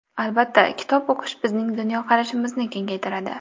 Albatta, kitob o‘qish bizning dunyoqarashimizni kengaytiradi.